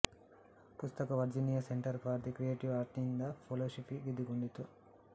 ಪುಸ್ತಕವು Virginia centre for the creative ಆರ್ಟ್ಸ್ನಿಂದ fellowship ಗೆದ್ದುಕೊಂಡಿತು